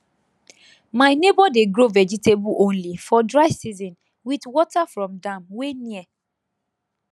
my neighbour dey grow vegetable only for dry season with water from dam wey near